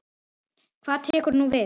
Hvað tekur nú við?